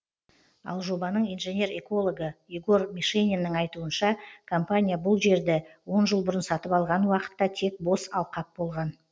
ал жобаның инженер экологы егор мишениннің айтуынша компания бұл жерді он жыл бұрын сатып алған уақытта тек бос алқап болған